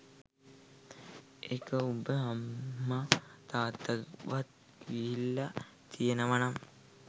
එක උබ අම්ම තාත්තගෙන් වත් ගිහිල්ල තියෙනවනම්